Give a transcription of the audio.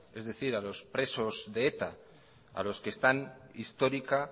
es decir a los presos de eta a los que están histórica